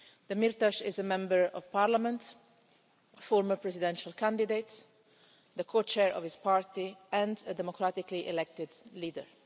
Demirtaş is a Member of Parliament, a former presidential candidate, the Co Chair of his party and a democratically elected leader.